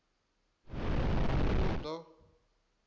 uḓo